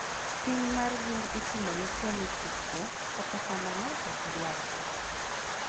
pim mar gund itimo ne tuo michich go, kata kamano okdware